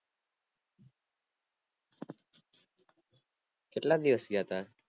કેટલાક દિવસ ગયા તા